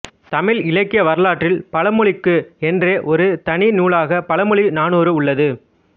தமிழ் இலக்கிய வரலாற்றில் பழமொழிக்கு என்றே ஒரு தனி நூலாக பழமொழி நானூறு உள்ளது